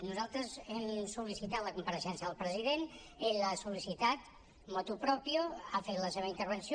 nosaltres hem sol·licitat la compareixença del president ell l’ha sol·licitat motu proprio ha fet la seva intervenció